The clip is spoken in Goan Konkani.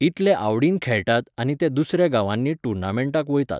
इतले आवडीन खेळतात आनी ते दुसऱ्या गांवांनी टुर्नामेंन्टाक वयताच